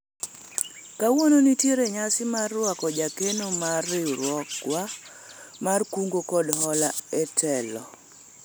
kawuono nitiere nyasi mar rwako jakeno mar riwruogwa mar kungo kod hola e telo